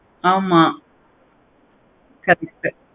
ஆமா correct உ